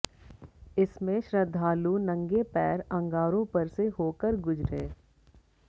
इसमें श्रद्धालु नंगे पैर अंगारों पर से होकर गुजरे